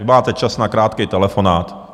Vy máte čas na krátký telefonát.